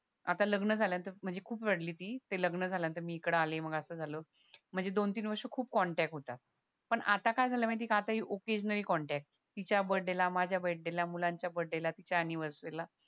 आता लग्न झाल्यानंतर म्हणजे खूप रडली ती म्हणजे ते लग्न झाल्या नंतर मी इकडे आले मग असं झालं म्हणजे दोन तीन वर्ष खूप कॉन्टॅक्ट होता पण आता काय झालं माहितीये हे ओकेजनली कॉन्टॅक्ट तिच्या बर्थडे ला माझ्या बर्थडे मुलांच्या बर्थडे तिच्या अँनिव्हर्सरी ला